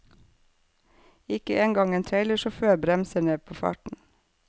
Ikke en gang en trailersjåfør bremser ned på farten.